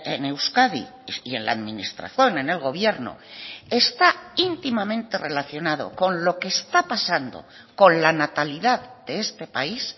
en euskadi y en la administración en el gobierno está íntimamente relacionado con lo que está pasando con la natalidad de este país